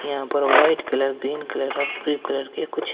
यहां पर white colour green colour और ब्ल्यू कलर के कुछ--